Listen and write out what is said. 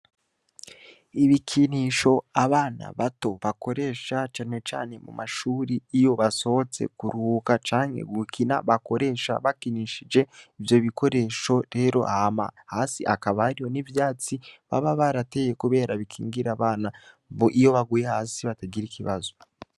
Ibikinisho abana bato bakoresha canecane mu mashuri iyo basohotse kuruka canke gukina bakoresha bakinishije ivyo bikoresho rero hama hasi akabariyo n'ivyatsi baba barateye, kubera bikingira abana mbo iyo baguye hasi batagira ikibazo.